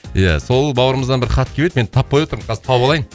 ия сол бауырымыздан бір хат келіп еді мен таппай отырмын қазір тауып алайын